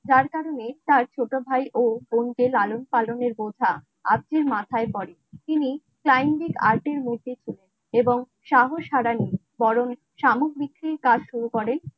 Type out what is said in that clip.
যার কারণে তার ছোট ভাই ও বোনকে লালন পালনের বোঝা. আজকের মাথায় পরে তিনি সাইনজিৎ আর্ট এর মূর্তিতে এবং সাহস হারান বরং সামগ্রীর কাজ শুরু করেন